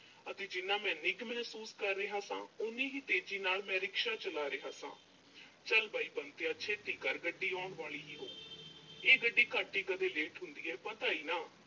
ਅਤੇ ਜਿੰਨਾ ਮੈਂ ਨਿੱਘ ਮਹਿਸੂਸ ਕਰ ਰਿਹਾ ਸਾਂ, ਓਨੀ ਹੀ ਤੇਜ਼ੀ ਨਾਲ ਮੈਂ rickshaw ਚਲਾ ਰਿਹਾ ਸਾਂ। ਚਲ ਬਈ ਬੰਤਿਆ ਛੇਤੀ ਕਰ, ਗੱਡੀ ਆਉਣ ਵਾਲੀ ਹੀ ਹੋਵੇਗੀ, ਇਹ ਗੱਡੀ ਘੱਟ ਹੀ ਕਦੇ ਲੇਟ ਹੁੰਦੀ ਹੈ। ਪਤਾ ਹੀ ਆ ਨਾ ਅਹ